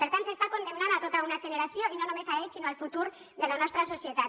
per tant s’està condemnant tota una generació i no només a ells sinó al futur de la nostra societat